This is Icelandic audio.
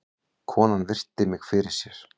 Konan virti mig fyrir sér.